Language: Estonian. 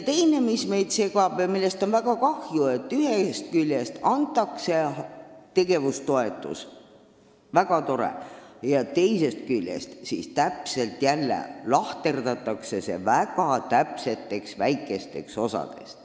Teine asi, mis meid segab ja millest on väga kahju, on see, et ühest küljest antakse tegevustoetust – väga tore –, aga teisest küljest lahterdatakse see jälle väga täpselt väikesteks osadeks.